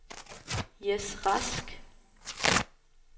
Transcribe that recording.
Jess Rask